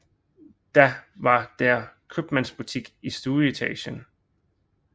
Da var der købmandsbutik i stueetagen